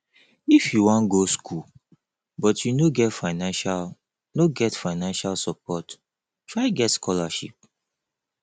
if you wan go skool but you no get financial no get financial support try get scholarship